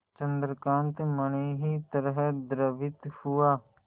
चंद्रकांत मणि ही तरह द्रवित हुआ